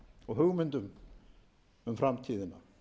og hugmyndum um framtíðina